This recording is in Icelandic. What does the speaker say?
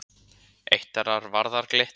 Eitt þeirra varðar Glitni.